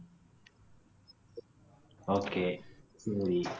okay சரி